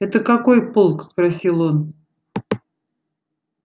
это какой полк спросил он